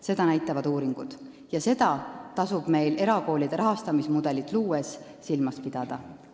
Seda näitavad uuringud ja seda tasub meil erakoolide rahastamise mudelit luues silmas pidada.